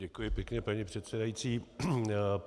Děkuji pěkně, paní předsedající.